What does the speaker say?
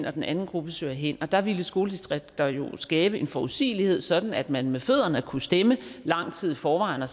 og den anden gruppe søger hen og der ville skoledistrikter jo skabe en forudsigelighed sådan at man med fødderne kunne stemme lang tid i forvejen og